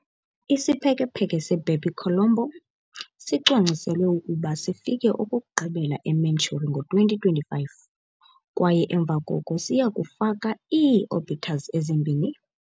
Isiphekepheke "se-BepiColombo" sicwangciselwe ukuba sifike okokugqibela e-Mercury ngo-2025, kwaye emva koko siya kufaka ii-orbiters ezimbini.